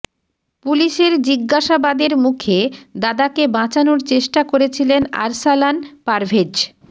পুলিশের জিজ্ঞাসাবাদের মুখে দাদাকে বাঁচানোর চেষ্টা করেছিলেন আরসালান পারভেজ